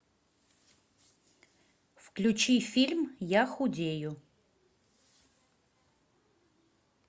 включи фильм я худею